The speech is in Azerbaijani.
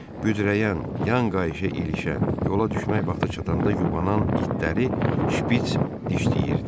Büzürəyən, yan qayışa ilişən, yola düşmək vaxtı çatanda yubanan itləri şpits dişləyirdi.